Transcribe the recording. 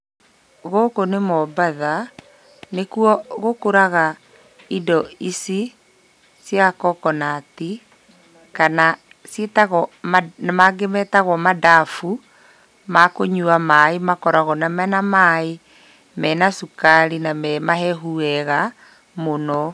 Gũkũ nĩ Mombatha, nĩkuo gũkũraga indo ici cia kokonati, kana mangĩ metagwo mandabu. Makũnyua maaĩ makoragwo mena maaĩ mena cukari na me mahehu wega mũno.